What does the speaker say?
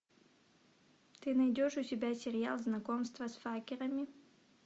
ты найдешь у себя сериал знакомство с факерами